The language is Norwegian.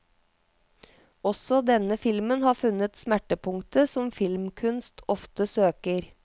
Også denne filmen har funnet smertepunktet som filmkunst ofte søker.